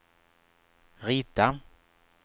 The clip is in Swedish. rita